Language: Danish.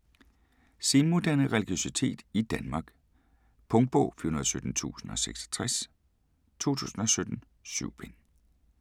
Senmoderne religiøsitet i Danmark Punktbog 417066 2017. 7 bind.